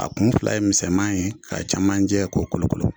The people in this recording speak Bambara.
A kun fila ye misɛnman ye k'a camanjɛ k'o kolo kolo